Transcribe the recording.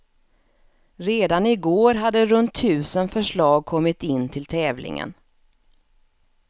Redan igår hade runt tusen förslag kommit in till tävlingen.